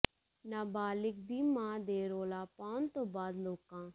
ਨਾਬਾਲਿਗ਼ ਦੀ ਮਾਂ ਦੇ ਰੌਲਾ ਪਾਉਣ ਤੋਂ ਬਾਅਦ ਲੋਕਾਂ